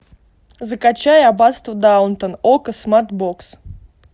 закачай аббатство даунтон окко смартбокс